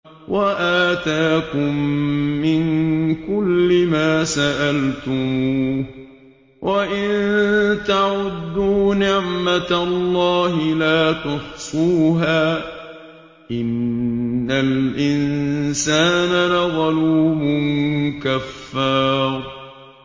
وَآتَاكُم مِّن كُلِّ مَا سَأَلْتُمُوهُ ۚ وَإِن تَعُدُّوا نِعْمَتَ اللَّهِ لَا تُحْصُوهَا ۗ إِنَّ الْإِنسَانَ لَظَلُومٌ كَفَّارٌ